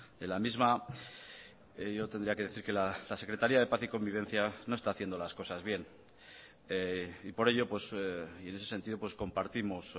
de la misma yo tendría que decir que la secretaría de paz y convivencia no está haciendo las cosas bien y por ello y en ese sentido compartimos